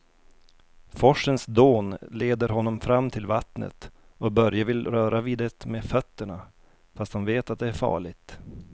Forsens dån leder honom fram till vattnet och Börje vill röra vid det med fötterna, fast han vet att det är farligt.